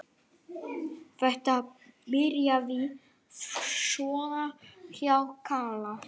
Þetta byrjaði svona hjá Kalla.